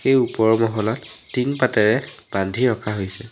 এই ওপৰৰ মহলাত টিং পাতেৰে বান্ধি ৰখা হৈছে।